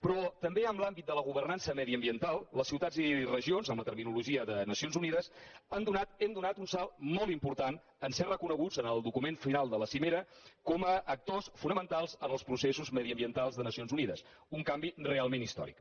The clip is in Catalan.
però també en l’àmbit de la governança mediambiental les ciutats i regions en la terminologia de nacions unides han donat hem donat un salt molt important en ser reconeguts en el document final de la cimera com a actors fonamentals en els processos mediambientals de nacions unides un canvi realment històric